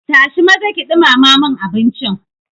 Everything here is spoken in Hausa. Tashi maza ki ɗumama mun abincin.